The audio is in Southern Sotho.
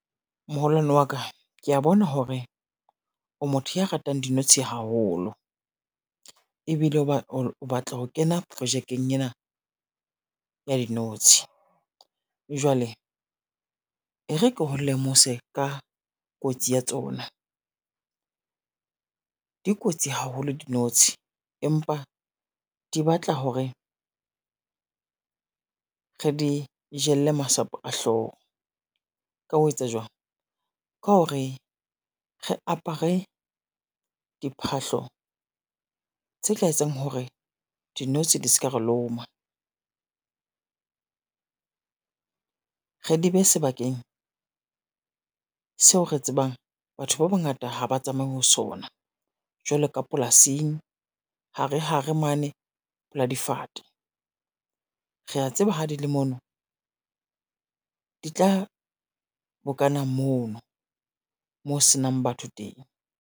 Moholwane wa ka kea bona hore o motho ya ratang dinotshi haholo, ebile o batla ho kena projekeng ena ya dinotshi, jwale e re ke ho lemose ka kotsi ya tsona. Di kotsi haholo dinotshi empa di batla hore, re di jelle masapo a hlooho, ka ho etsa jwang? Ka hore re apare diphahlo tse tla etsang hore dinotshi di ska re loma. Re di bee sebakeng seo re tsebang batho ba bangata ha ba tsamaye ho sona, jwalo ka polasing hare hare mane pela difate. Rea tseba ha di le mono, di tla bokana mono mo senang batho teng.